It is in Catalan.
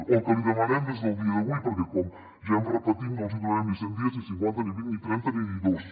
o el que li demanem des del dia d’avui perquè com ja hem repetit no els donarem ni cent dies ni cinquanta ni vint ni trenta ni dos